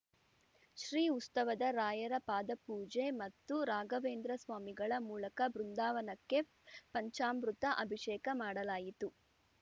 ಶ್ರೀ ಉಸ್ತವದ ರಾಯರ ಪಾದಪೂಜೆ ಮತ್ತು ರಾಘವೇಂದ್ರ ಸ್ವಾಮಿಗಳ ಮೂಲಕ ಬೃಂದಾವನಕ್ಕೆ ಪಂಚಾಮೃತ ಅಭಿಷೇಕ ಮಾಡಲಾಯಿತು